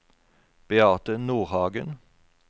Beate Nordhagen